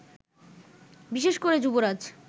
বিশেষ করে যুবরাজ